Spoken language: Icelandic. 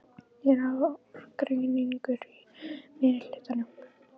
Er ágreiningur í meirihlutanum?